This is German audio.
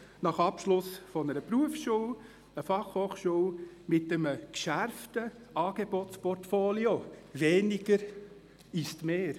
Nach Abschluss einer Berufsschule, einer Fachhochschule mit einem geschärften Angebotsportfolio gilt «weniger ist mehr».